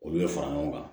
Olu bɛ fara ɲɔgɔn kan